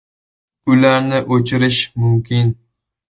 Ularni o‘chirish mumkin.